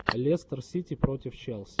лестер сити против челси